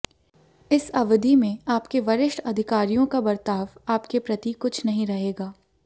इस अवधि में आपके वरिष्ठ अधिकारियों का बर्ताव आप के प्रति कुछ नहीं रहेगा